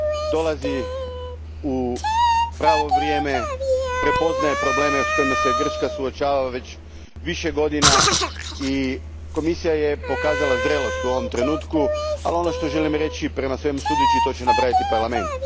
Dolazi u pravo vrijeme, prepoznaje probleme s kojima se Grčka suočava već više godina i Komisija je pokazala zrelost u ovom trenutku, a želim reći da će, prema svemu sudeći, to napraviti i Parlament.